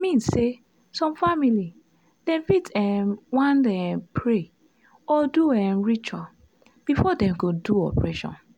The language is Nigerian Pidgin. i mean say some family dem fit um want um pray or do um ritual before dem go do operation